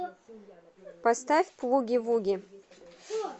поставь плуги вуги